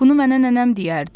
Bunu mənə nənəm deyərdi.